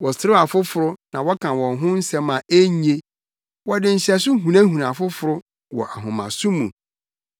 Wɔserew afoforo na wɔka wɔn ho nsɛm a enye; wɔde nhyɛso hunahuna afoforo wɔ ahomaso mu.